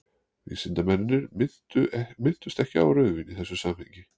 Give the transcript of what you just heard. vísindamennirnir minntust ekki á rauðvín í þessu samhengi